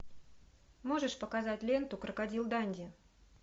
можешь показать ленту крокодил данди